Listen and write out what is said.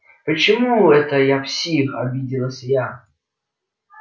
почему это я псих обиделась я